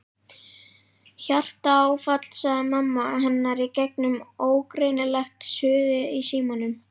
Hjartaáfall sagði mamma hennar í gegnum ógreinilegt suðið í símanum.